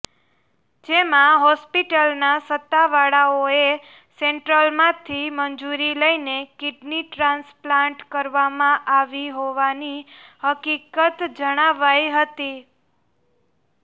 જેમાં હોસ્પિટલના સત્તાવાળાઓએ સેન્ટ્રલમાંથી મંજૂરી લઈને કિડની ટ્રાન્સપ્લાન્ટ કરવામાં આવી હોવાની હકિકત જણાવાઈ હતી